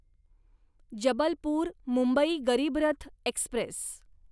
Jabalpur Mumbai Garib Rath Express